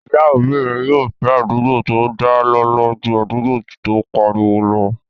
Ìyá òbí mi yóò fẹ́ àdúgbò tó dá lọ́lọ́ ju àdúgbò tó n pariwo lọ